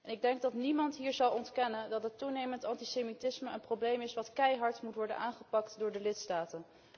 Ik denk dat niemand hier zal ontkennen dat het toenemend antisemitisme een probleem is dat keihard moet worden aangepakt door de lidstaten.